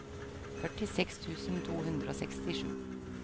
førtiseks tusen to hundre og sekstisju